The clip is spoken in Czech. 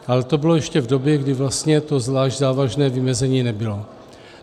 Ale to bylo ještě v době, kdy vlastně to zvlášť závažné vymezení nebylo.